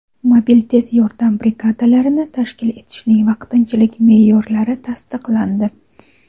Mobil tez yordam brigadalarini tashkil etishning vaqtinchalik me’yorlari tasdiqlandi.